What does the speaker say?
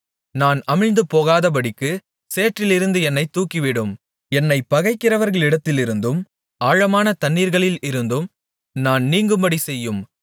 நான் அமிழ்ந்து போகாதபடிக்குச் சேற்றிலிருந்து என்னைத் தூக்கிவிடும் என்னைப் பகைக்கிறவர்களிடத்திலிருந்தும் ஆழமான தண்ணீர்களில் இருந்தும் நான் நீங்கும்படி செய்யும்